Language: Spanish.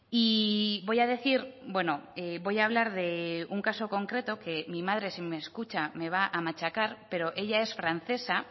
y voy a decir bueno voy a hablar de un caso concreto que mi madre si me escucha me va a machacar pero ella es francesa